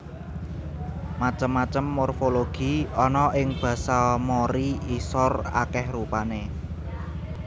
Macem macem morfologi ana ing basa Mori Isor akèh rupané